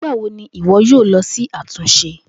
Nigbawo ni iwọ yoo lọ si atunṣe?